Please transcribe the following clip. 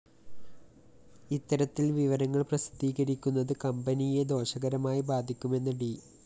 ഇത്തരത്തില്‍ വിവരങ്ങള്‍ പ്രസിദ്ധീകരിക്കുന്നത് കമ്പനിയെ ദോഷകരമായി ബാധിക്കുമെന്ന് ഡി